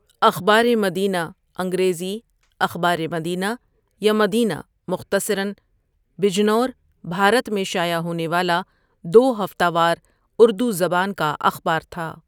اخبارِ مدینہ انگریزی اخبارِ مدینہ ، یا مدینہ مختصراً، بجنور، بھارت میں شائع ہونے والا دو ہفتہ وار اردو زبان کا اخبار تھا.